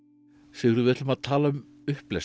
Sigurður við ætlum að tala um upplestur